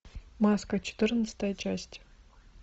маска четырнадцатая часть